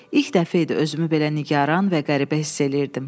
İlk dəfə idi özümü belə nigaran və qəribə hiss eləyirdim.